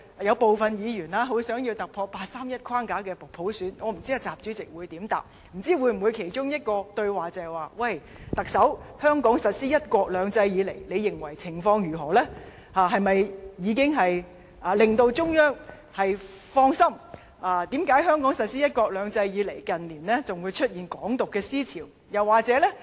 兩人其中一個對話，會否是習主席問特首，她認為香港實施"一國兩制"以來的情況如何呢？是否已經令中央放心？為何香港實施"一國兩制"以來，近年仍會出現"港獨"思潮？